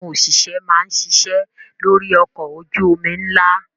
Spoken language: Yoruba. Àwọn òṣìṣẹ́ máa ń ṣiṣẹ́ lórí ọkọ̀ ojú-omi ńlá.